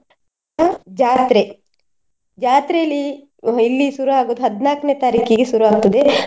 ಅ ಜಾತ್ರೆ. ಜಾತ್ರೇಲಿ ಒಮ್ಮೆ ಇಲ್ಲಿ ಶುರು ಆಗುದ್ ಹದ್ನಾಲ್ಕನೇ ತಾರೀಕಿಗೆ ಶುರು ಆಗ್ತದೆ.